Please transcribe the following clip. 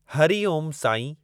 हरी Om सांईं!